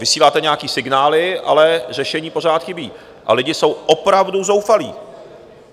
Vysíláte nějaké signály, ale řešení pořád chybí, a lidé jsou opravdu zoufalí.